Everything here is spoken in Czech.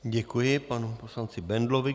Děkuji panu poslanci Bendlovi.